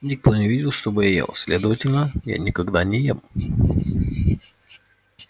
никто не видел чтобы я ел следовательно я никогда не ем